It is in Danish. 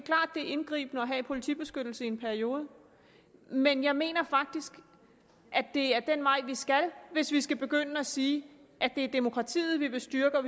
er indgribende at have politibeskyttelse i en periode men jeg mener faktisk at det er den vej vi skal hvis vi skal begynde at sige at det er demokratiet vi vil styrke og